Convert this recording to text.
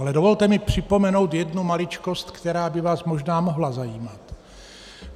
Ale dovolte mi připomenout jednu maličkost, která by vás možná mohla zajímat.